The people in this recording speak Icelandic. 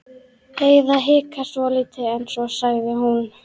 Heiða hikaði svolítið en svo sagði hún